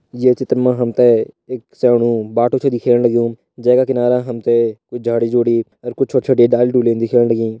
ये चित्र में हम्थे एक साणु बाटू च दिख्याणु लग्युं जगह किनारा हम्थे झाड़ी-झुड़ी और कुछ छोटी-छोटी डाली-डुली दिख्याणा लगीं।